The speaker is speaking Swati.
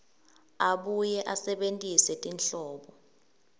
abuye asebentise tinhlobo